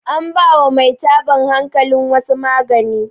anbawa Mai tabon hankalin wasu magani